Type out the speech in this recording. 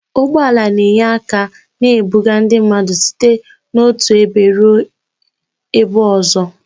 Ụgbọ ala na-enye aka na-ebuga ndị mmadụ site n'otu ebe ruo ebe